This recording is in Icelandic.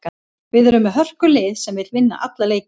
Við erum með hörkulið sem vill vinna alla leiki.